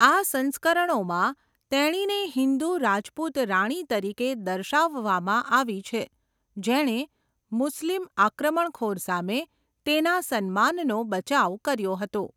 આ સંસ્કરણોમાં, તેણીને હિન્દુ રાજપૂત રાણી તરીકે દર્શાવવામાં આવી છે, જેણે મુસ્લિમ આક્રમણખોર સામે તેના સન્માનનો બચાવ કર્યો હતો.